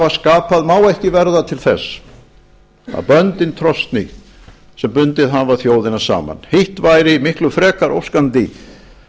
skapað má ekki verða til þess að böndin trosni sem bundið hafa þjóðina saman hitt væri miklu frekar óskandi